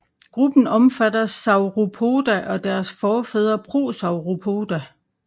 Gruppen omfatter Sauropoda og deres forfædre Prosauropoda